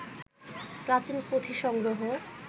প্রাচীন পুঁথি সংগ্রহ